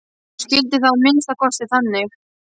Hún skildi það að minnsta kosti þannig.